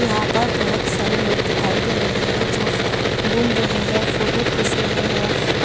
यहां पर बहुत सारे लोग दिखाई दे रहे हैं जो घूम रहे हैं फोटो खींच रहे हैं।